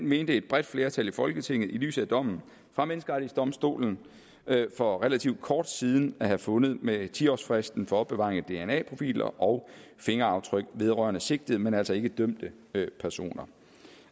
mente et bredt flertal i folketinget i lyset af dommen fra menneskerettighedsdomstolen for relativt kort tid siden at have fundet med ti årsfristen for opbevaringen af dna profiler og fingeraftryk vedrørende sigtede men altså ikke dømte personer